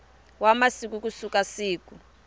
wa masiku ku suka siku